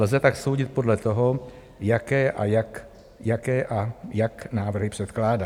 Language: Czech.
Lze tak soudit podle toho, jaké a jak návrhy předkládá.